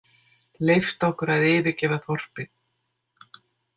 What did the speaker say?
Leyft okkur að yfirgefa þorpið.